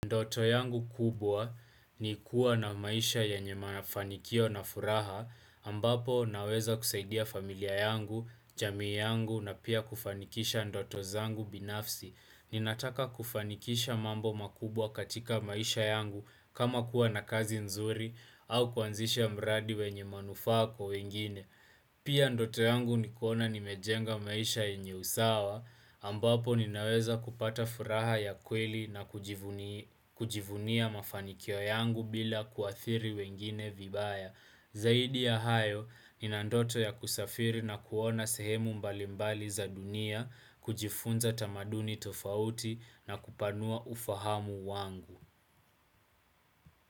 Ndoto yangu kubwa ni kuwa na maisha yanye mafanikio na furaha ambapo naweza kusaidia familia yangu, jamii yangu na pia kufanikisha ndoto zangu binafsi. Ninataka kufanikisha mambo makubwa katika maisha yangu kama kuwa na kazi nzuri au kuanzisha mradi wenye manufaa kwa wengine. Pia ndoto yangu nikona nimejenga maisha yenye usawa ambapo ninaweza kupata furaha ya kweli na kujivunia mafanikio yangu bila kuathiri wengine vibaya. Zaidi ya hayo, nina ndoto ya kusafiri na kuona sehemu mbalimbali za dunia, kujifunza tamaduni tofauti na kupanua ufahamu wangu.